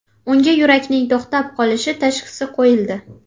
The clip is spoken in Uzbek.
Unga yurakning to‘xtab qolishi tashhisi qo‘yildi.